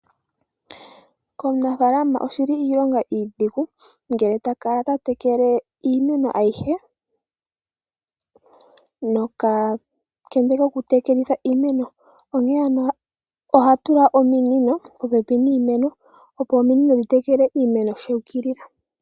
Komunafala oshili iilongo iidhigu ngele ta kala ta tekele iimeno ayihe noka kende koku tekelitha iimeno onke ano oha tula ominino popepi niimeno opo ominino dhi tekele iimeno shuukilila.